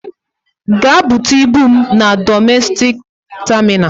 Gaa bute ibu m na domestik tamina.